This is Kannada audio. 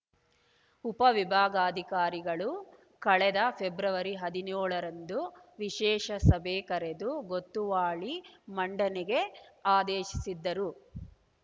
ಉಪವಿಭಾಗಾಧಿಕಾರಿಗಳು ಕಳೆದ ಫೆಬ್ರವರಿ ಹದಿನೇಳರಂದು ವಿಶೇಷ ಸಭೆ ಕರೆದು ಗೊತ್ತುವಳಿ ಮಂಡನೆಗೆ ಆದೇಶಿಸಿದ್ದರು